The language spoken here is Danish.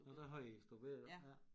Nåh der havde I store bededag ja